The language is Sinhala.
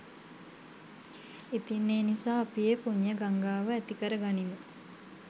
ඉතින් ඒ නිසා අපි ඒ පුණ්‍ය ගංගාව ඇති කරගනිමු